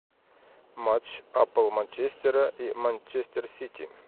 матч апл манчестера и манчестер сити